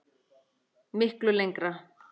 Miklu lengra.